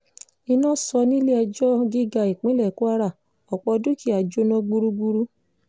iná sọ nílẹ̀-ẹjọ́ gíga ìpínlẹ̀ kwara ọ̀pọ̀ dúkìá jóná gbúgbúrú